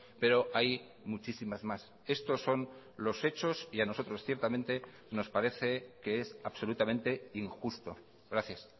pero hay muchísimas más estos son los hechos y a nosotros ciertamente nos parece que es absolutamente injusto gracias